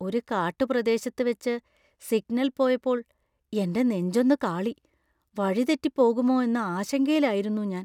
ഒരു കാട്ടുപ്രദേശത്ത് വെച്ച് സിഗ്നൽ പോയപ്പോൾ എൻ്റെ നെഞ്ചൊന്ന് കാളി. വഴിതെറ്റി പോകുമോ എന്ന ആശങ്കയിലായിരുന്നു ഞാൻ.